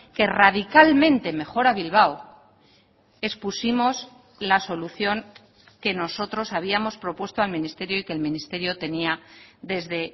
que radicalmente mejora bilbao expusimos la solución que nosotros habíamos propuesto al ministerio y que el ministerio tenía desde